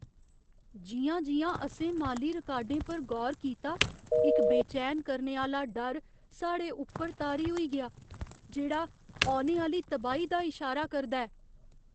जि'यां जि'यां असें माली रिकार्डें पर गौर कीता, इक बेचैन करने आह्‌ला डर साढ़े उप्पर तारी होई गेआ, जेह्ड़ा औने आह्‌ली तबाही दा इशारा करदा ऐ।